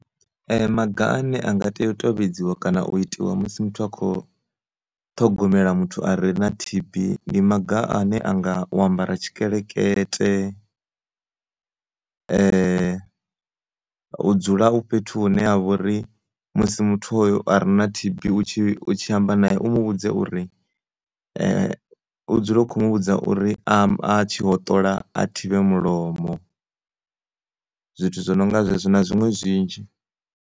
Maga ane a nga tea u tevhedziwa kana u itiwa musi muthu a kho ṱhogomela muthu a re na T_B ndi maga ane a nga u ambara tshikelekete u dzula u fhethu hu ne ha vhori musi muthu hoya a re na T_B u tshi, u tshi amba nae u mu vhudze uri u dzule u kho mu vhudza uri a tshi hoṱola a thivhe mulomo zwithu zwo no nga zwezwo na zwiṅwe zwinzhi.